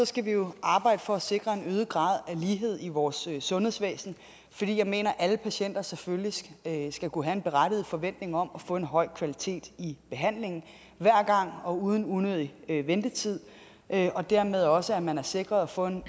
skal vi jo arbejde for at sikre en øget grad af lighed i vores sundhedsvæsen for jeg mener at alle patienter selvfølgelig skal kunne have en berettiget forventning om at få en høj kvalitet i behandlingen hver gang og uden unødig ventetid og dermed også at man er sikret at få en